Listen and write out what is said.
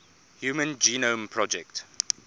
human genome project